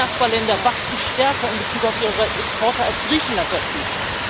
Alle Nachbarländer wachsen in Bezug auf ihre Exporte stärker, als Griechenland das tut.